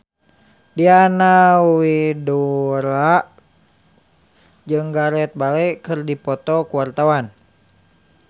Diana Widoera jeung Gareth Bale keur dipoto ku wartawan